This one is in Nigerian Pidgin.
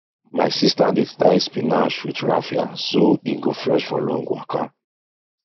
my sister dey tie spinach with raffia so e go fresh for long waka